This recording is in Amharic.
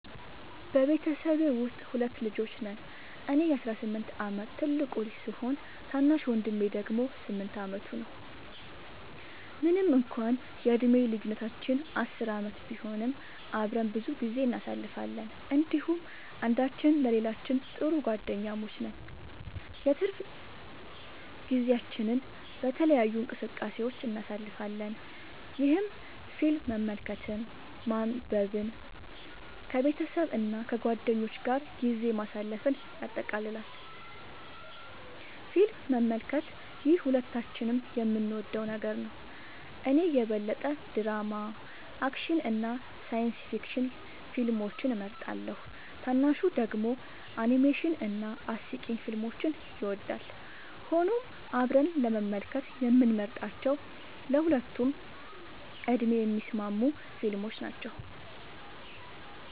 በቤተሰቤ ውስጥ ሁለት ልጆች ነን - እኔ የ18 ዓመት ትልቁ ልጅ ሲሆን፣ ታናሽ ወንድሜ ደግሞ 8 ዓመቱ ነው። ምንም እንኳን የዕድሜ ልዩነታችን 10 ዓመት ቢሆንም፣ አብረን ብዙ ጊዜ እናሳልፋለን እንዲሁም አንዳችን ለሌላችን ጥሩ ጓደኛሞች ነን። የትርፍ ጊዜያችንን በተለያዩ እንቅስቃሴዎች እናሳልፋለን፣ ይህም ፊልም መመልከትን፣ ማንበብን፣ ከቤተሰብ እና ከጓደኞች ጋር ጊዜ ማሳለፍን ያጠቃልላል። ፊልም መመልከት - ይህ ሁለታችንም የምንወደው ነገር ነው። እኔ የበለጠ ድራማ፣ አክሽን እና ሳይንስ ፊክሽን ፊልሞችን እመርጣለሁ፣ ታናሹ ደግሞ አኒሜሽን እና አስቂኝ ፊልሞችን ይወዳል። ሆኖም አብረን ለመመልከት የምንመርጣቸው ለሁለቱም ዕድሜ የሚስማሙ ፊልሞች ናቸው።